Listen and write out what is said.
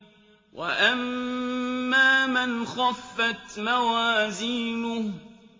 وَأَمَّا مَنْ خَفَّتْ مَوَازِينُهُ